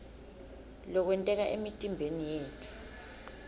lokwenteka emtimbeni yetfu